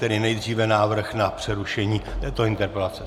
Tedy nejdříve návrh na přerušení této interpelace.